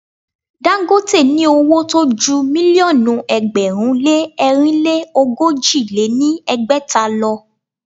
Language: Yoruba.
Dagote ní owó tó ju mílíọ̀nù ẹgbẹ̀rún lé ẹ̀rinlé ogójì lé ní ẹgbẹ́ta lọ.